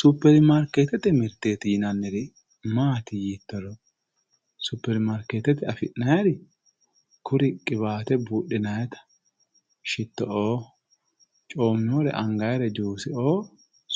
superimaarkeetete mirte maati yiittoro superimaarkeetete afi'nanniri qiwaate buudhinannita shitto''oo coommannore angannire juuseoo